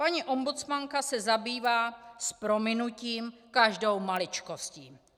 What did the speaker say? Paní ombudsmanka se zabývá s prominutím každou maličkostí.